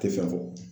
Tɛ fɛn fɔ